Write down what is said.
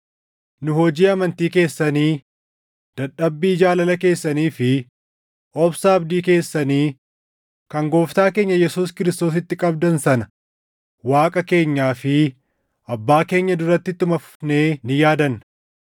Nu hojii amantii keessanii, dadhabbii jaalala keessanii fi obsa abdii keessanii kan Gooftaa keenya Yesuus Kiristoositti qabdan sana Waaqa keenyaa fi Abbaa keenya duratti ittuma fufnee ni yaadanna.